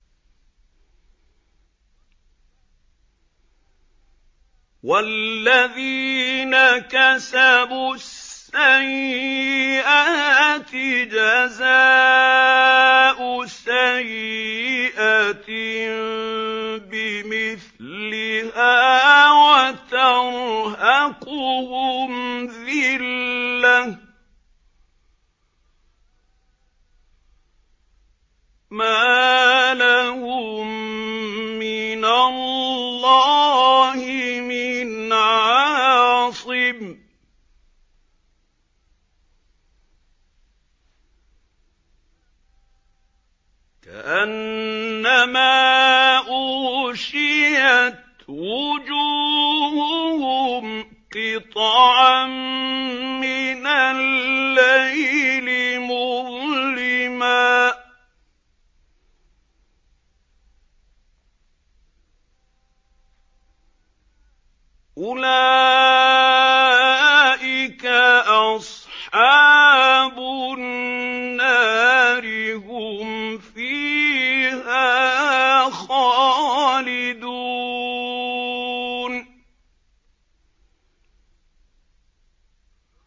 وَالَّذِينَ كَسَبُوا السَّيِّئَاتِ جَزَاءُ سَيِّئَةٍ بِمِثْلِهَا وَتَرْهَقُهُمْ ذِلَّةٌ ۖ مَّا لَهُم مِّنَ اللَّهِ مِنْ عَاصِمٍ ۖ كَأَنَّمَا أُغْشِيَتْ وُجُوهُهُمْ قِطَعًا مِّنَ اللَّيْلِ مُظْلِمًا ۚ أُولَٰئِكَ أَصْحَابُ النَّارِ ۖ هُمْ فِيهَا خَالِدُونَ